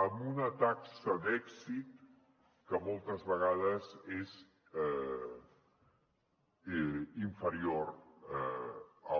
amb una taxa d’èxit que moltes vegades és inferior al